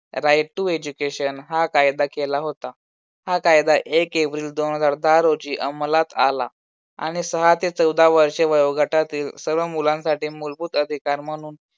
right to education हा कायदा केला होता. हा कायदा एक एप्रिल दोन हजार दहा रोजी अमलात आला आणि सहा ते चौदा वर्षे वयोगटातील सर्व मुलांसाठी मूलभूत अधिकार म्हणून